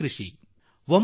ಬೇಸಾಯ ಆಗಿರುತ್ತದೆ